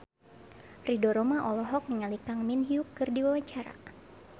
Ridho Roma olohok ningali Kang Min Hyuk keur diwawancara